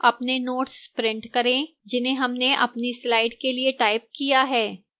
अपने notes print करें जिन्हें हमने अपनी slides के लिए टाइप किया है